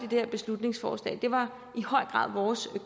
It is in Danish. her beslutningsforslag det var i høj grad vores